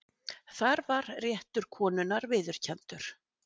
þar var réttur konunnar viðurkenndur